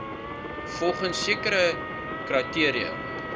volgens sekere kriteria